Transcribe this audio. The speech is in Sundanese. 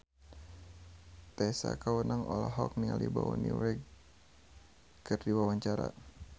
Tessa Kaunang olohok ningali Bonnie Wright keur diwawancara